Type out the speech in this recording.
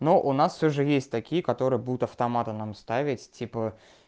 но у нас всё же есть такие которые будут автоматы нам ставить типа